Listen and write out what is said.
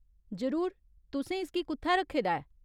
जरूर, तुसें इसगी कु'त्थै रक्खे दा ऐ ?